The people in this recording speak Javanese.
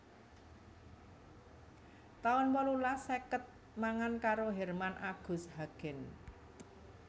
taun wolulas seket mangan karo Herman Agus Hagen